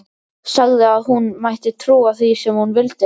Sagði að hún mætti trúa því sem hún vildi.